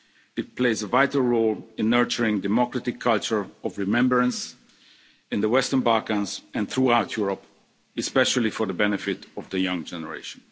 It plays a vital role in nurturing a democratic culture of remembrance in the Western Balkans and throughout Europe, especially for the benefit of the young generation.